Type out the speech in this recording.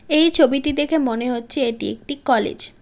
এই ছবিটি দেখে মনে হচ্ছে এটি একটি কলেজ ।